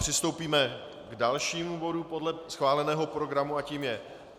Přistoupíme k dalšímu bodu podle schváleného programu a tím je